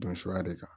Don suguya de kan